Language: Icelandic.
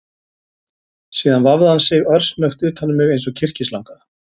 Síðan vafði hann sig örsnöggt utan um mig eins og kyrkislanga